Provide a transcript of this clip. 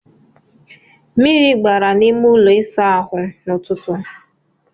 Mmiri gbara na n'ime ụlọ ịsa ahụ n'ọtụtụ a.